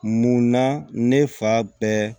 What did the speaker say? Munna ne fa bɛɛ